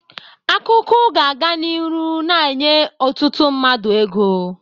Akụkụ ga-aga n'iru na-enye ọtụtụ mmadụ ego.